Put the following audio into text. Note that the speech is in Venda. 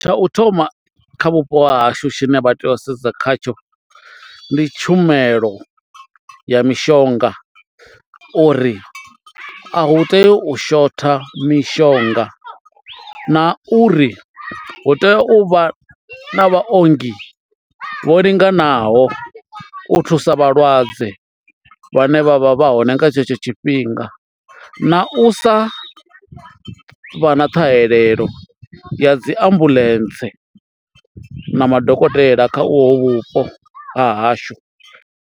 Tsha u thoma kha vhupo ha hashu tshine vha tea u sedza khatsho ndi tshumelo ya mishonga uri a hu tei u shotha mishonga na uri hu tea u vha na vhaongi vho linganaho u thusa vhalwadze vhane vha vha vha hone nga tshetsho tshifhinga na u sa vha na ṱhahelelo ya dzi ambuḽentse na madokotela kha uho vhupo ha hashu.